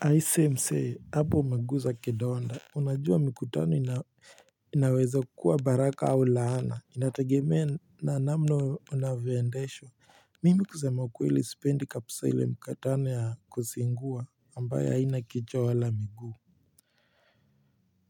Aise msee hapo umeguza kidonda. Unajua mikutano inaweza kukua baraka au laana. Inategemea na namna unavyoendeshwa. Mimi kusema ukweli sipendi kabisa ile mikutano ya kuzingua ambayo haina kichwa wala miguu.